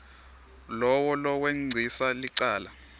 lowo lowengcisa licala